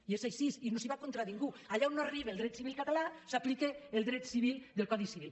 i és així i no es va contra ningú allà on no arriba el dret civil català s’aplica el dret civil del codi civil